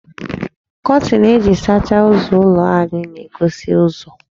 Kọtin eji sachie ụzọ ụlọ anyị na-egosi ụzọ.